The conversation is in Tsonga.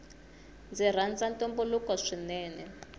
ndzi rhanza ntumbuluko swinene